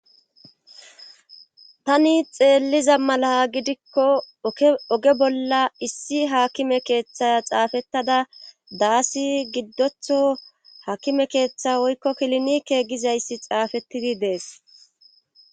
Tani xeelliza mala gidikko oge bolla issi haakime keeththaya xaafettada daassi giddotho hakime keeththa woykko kilinikegizayssi xaafettidi dees